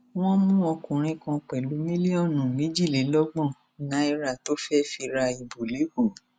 wọn mú ọkùnrin kan pẹlú mílíọnù méjìlélọgbọn náírà tó fẹẹ fi ra ìbò lẹkọọ